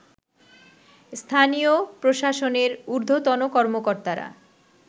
স্থানীয় প্রশাসনের ঊর্ধ্বতন কর্মকর্তারা